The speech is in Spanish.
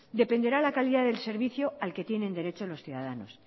dependerá la calidad del servicio al que tienen derecho los ciudadanos